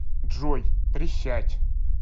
джой присядь